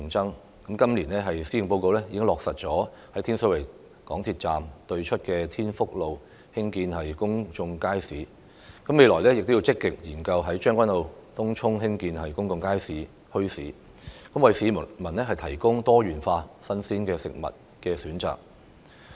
政府在去年的施政報告落實在天水圍港鐵站對出的天福路興建公眾街市，未來亦要積極研究在將軍澳及東涌興建公眾街市和墟市等，務求為市民提供多元化的新鮮食物選擇。